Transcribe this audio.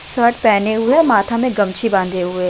shirt पहने हुए और माथा में गमछी बांधे हुए --